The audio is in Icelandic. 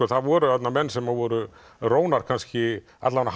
það voru þarna menn sem voru rónar kannski alla vega